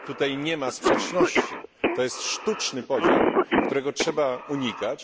Tutaj nie ma sprzeczności, to jest sztuczny podział, którego trzeba unikać.